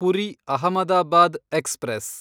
Puri Ahmedabad express